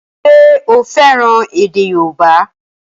Ṣé o fẹ́ràn èdè yóòbá?